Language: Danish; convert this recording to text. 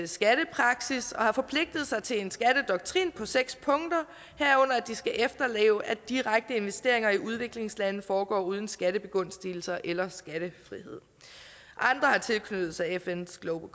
skattepraksis og har forpligtet sig til en skattedoktrin på seks punkter herunder at de skal efterleve at direkte investeringer i udviklingslande foregår uden skattebegunstigelser eller skattefrihed andre har tilknyttet sig fns global